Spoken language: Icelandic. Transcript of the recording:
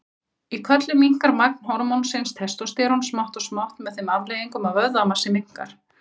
Í körlum minnkar magn hormónsins testósterón smátt og smátt með þeim afleiðingum að vöðvamassi minnkar.